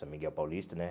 São Miguel Paulista, né?